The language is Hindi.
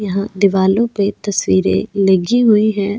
यहां दीवालों पे तस्वीरें लगी हुई हैं.